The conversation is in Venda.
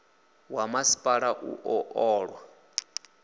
wa masipala u ḓo ṱola